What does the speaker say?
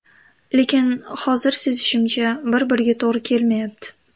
Lekin hozir sezishimcha, bir-biriga to‘g‘ri kelmayapti.